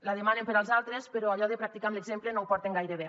la demanen per als altres però allò de practicar amb l’exemple no ho porten gaire bé